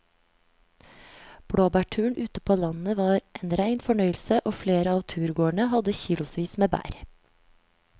Blåbærturen ute på landet var en rein fornøyelse og flere av turgåerene hadde kilosvis med bær.